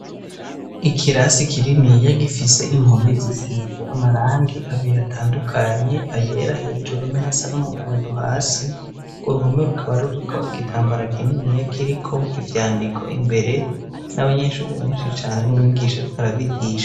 Ikirasi kininiya gifise impome zisize amarangi abiri atandukanye ayera hejuru na yasa n'umuhondo hasi ku ruhome rukaba ruriko igitambara kinini yakiriko ivyandiko imbere n'abanyeshuri benshi cane n'umwigisha riko arabigisha.